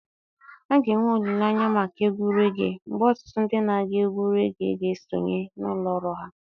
A ga-enwe olile anya maka egwu regee, mgbe ọtụtụ ndị na-agụ egwú regee ga-esonye na ụlọ ọrụ ahụ.